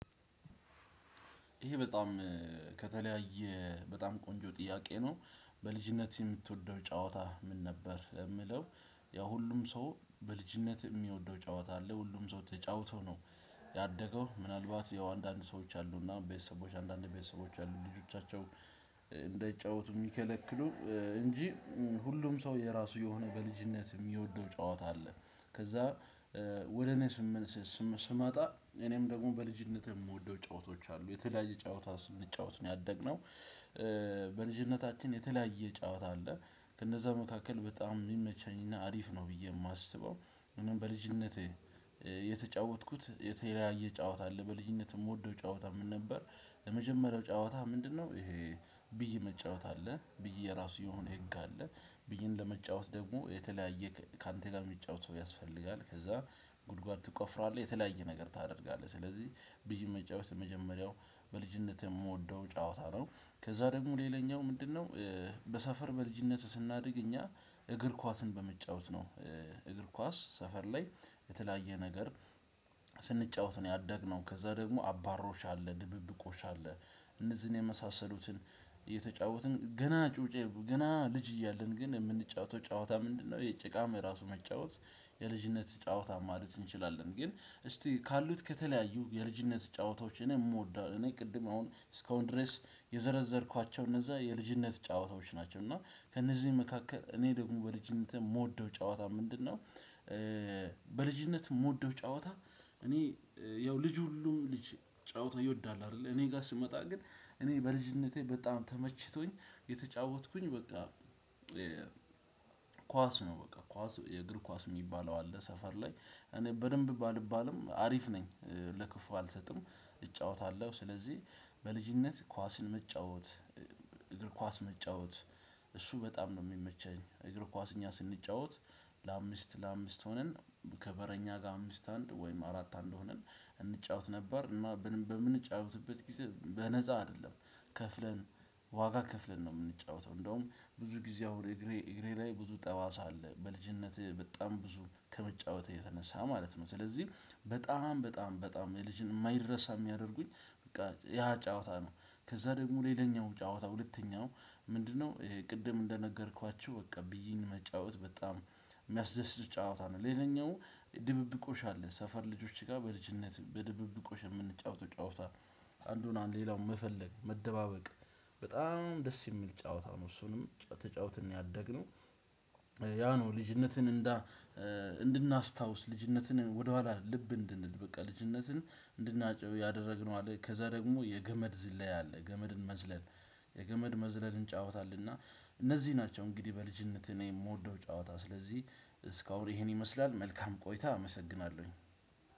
ይሄ በጣም ከተለያየ በጣም ቆንጆ ጥያቄ ነው። በልጅነት የምትወደው ጨዋታ ምን ነበር ሚለው? ያ ሁሉም ሰው በልጅነት የሚወደው ጨዋታ አለ። ሁሉም ሰው ተጫውቶ ነው። ያደገው ምናልባት ያው አንዳንድ ሰዎች አሉና ቤተሰቦች አንዳንድ ቤተሰቦች አሉ ልጆቻቸው እንደይጫወቱ ሚከለክሉ። እንጂ ሁሉም ሰው የራሱ የሆነ በልጅነት የሚወደው ጨዋታ አለ። ከዛ ወደ እኔ ስመስስ ስመጣ እኔም ደግሞ በልጅነቴ የምወደው ጨዋታዎች አሉ የተለያየ ጨዋታ ስንጫወት ነው ያደግነው። በልጅነታችን የተለያየ ጨዋታ አለ። ከነዛ መካከል በጣም የሚመቸኝና አሪፍ ነው ብዬ ማስበው። እኔ በልጅነቴ የተጫወትኩት የተለያየ ጨዋታ አለ በልጅነት የምወደው ጨዋታ ምን ነበር? የመጀመሪያው ጨዋታ ምንድነው ይሄ? ብይ መጫወት አለ ብይ የራሱ የሆነ ህግ አለ ብይን ለመጫወት ደግሞ የተለያየ ካንተ ጋር ሚጫወት ሰው ያስፈልጋል። ከዛ ጉድጓድ ትቆፍራለህ የተለያየ ነገር ታደርጋለህ። ስለዚህ ብይ መጫወት የመጀመሪያው በልጅነት የምወደው ጨዋታ ነው። ከዛ ደግሞ ሌላኛው ምንድነው? በሰፈር በልጅነት ስናድግ እኛ እግር ኳስን በመጫወት ነው። እግር ኳስ ሰፈር ላይ የተለያየ ነገር ስንጫወት ነው ያደግነው። ከዛ ደግሞ አባሮሽ አ፣ ድብብቆሽ አለ። እነዚህን የመሳሰሉትን እየተጫወትን ገና ጩጬ ገና ልጅ እያለን ግን የምንጫወተው ጨዋታ ምንድነው? ጭቃም ራሱ መጫወት የልጅነት ጨዋታ ማለት እንችላለን። ግን እስቲ ካሉት ከተለያዩ የልጅነት ጨዋታዎች እኔ የምወዳቸው እኔ ቅድም አሁን እስካሁን ድረስ የዘረዘርኳቸው እነዛ የልጅነት ጨዋታዎች ናቸው። እና ከእነዚህ መካከል እኔ ደግሞ በልጅነት የምወደው ጨዋታ ምንድነው? በልጅነት የምወደው ጨዋታ እኔ ያው ልጅ ሁሉም ልጅ ጨዋታ ይወዳል አይደለ። እኔ ጋር ስመጣ ግን እኔ በልጅነቴ በጣም ተመችቶኝ የተጫወትኩኝ በቃ። ኳስ ነው በቃ ኳስ የእግር ኳስ የሚባለው አለ ሰፈር ላይ እኔ በደንብ ባልባልም አሪፍ ነኝ። ለክፉ አልሰጥም። እጫወታለሁ ስለዚህ በልጅነት ኳስን መጫወት እግር ኳስ መጫወት እሱ በጣም ነው ሚመቸኝ። እግር ኳስ እኛ ስንጫወት ለአምስት ለአምስት ሆነን ከበረኛ ጋር አምስት አንድ ወይም አራት አንድ ሆነን እንጫወት ነበር። እና በምንጫወትበት ጊዜ በነፃ አይደለም። ከፍለን ዋጋ ከፍለን ነው ምንጫወተው እንደውም ብዙ ጊዜ አሁን እግሬ ላይ ብዙ ጠባሳ አለ። በልጅነቴ በጣም ብዙ ከመጫወት የተነሳ ማለት ነው። ስለዚህ በጣም በጣም በጣም ማይረሳ የሚያደርጉኝ በቃ ያ ጨዋታ ነው። ከዛ ደግሞ ሌላኛው ጨዋታ ሁለተኛው ምንድነው? ቅድም እንደነገርኳችሁ በቃ ብይን መጫወት በጣም ሚያስደስት ጨዋታ ነው። ሌላኛው ድብብቆሽ አለ ሰፈር ልጆች ጋር በልጅነት በድብብቆሽ የምንጫወተው ጫወታ። አንዱን አንድ ሌላውን መፈለግ መደባበቅ በጣም ደስ የሚል ጨዋታ ነው። እሱንም ተጫውተን ነው ያደግነው። ያ ነው ልጅነትን እንዳ እንድናስታውስ ልጅነትን ወደኋላ ልብ እንድንል በቃ ልጅነትን እንድናጨው ያደረግነው አለ። ከዛ ደግሞ የገመድ ዝላይ አለ ገመድን መዝለል የገመድ መዝለልን እንጫወታለን። እና እነዚህ ናቸው እንግዲህ በልጅነት እኔ ምወደው ጨዋታ ስለዚህ እስካሁን ይሄን ይመስላል መልካም ቆይታ አመሰግናለሁኝ።